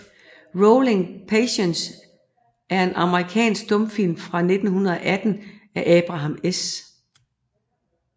Ruling Passions er en amerikansk stumfilm fra 1918 af Abraham S